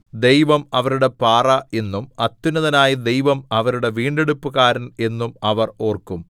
ദൈവം അവരുടെ പാറ എന്നും അത്യുന്നതനായ ദൈവം അവരുടെ വീണ്ടെടുപ്പുകാരൻ എന്നും അവർ ഓർക്കും